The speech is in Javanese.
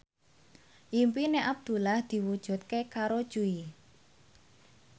impine Abdullah diwujudke karo Jui